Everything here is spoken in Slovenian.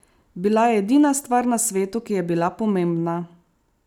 Bila je edina stvar na svetu, ki je bila pomembna.